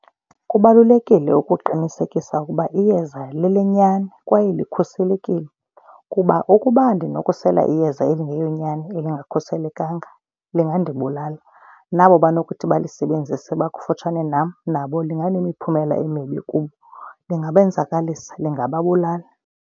Kubalulekile ukuqinisekisa ukuba iyeza lelenyani kwaye likhuselekile kuba ukuba ndinokusela iyeza elingeyonyani elingakhuselekanga lingandibulala nabo banokuthi balisebenzise bakufutshane nam nabo linga nemiphumela emibi kubo. Lingabenzakalisa, lingababulala.